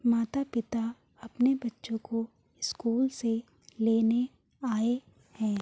माता-पिता अपने बच्चो को स्कूल से लेने आये हैं।